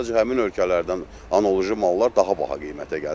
Sadəcə həmin ölkələrdən analoji mallar daha baha qiymətə gəlir.